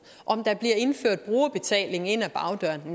om der bliver indført brugerbetaling ind ad bagdøren